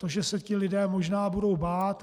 To, že se ti lidé možná budou bát.